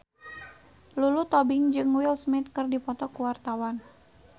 Lulu Tobing jeung Will Smith keur dipoto ku wartawan